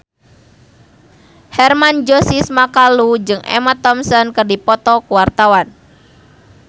Hermann Josis Mokalu jeung Emma Thompson keur dipoto ku wartawan